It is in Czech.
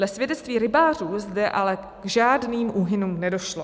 Dle svědectví rybářů zde ale k žádným úhynům nedošlo.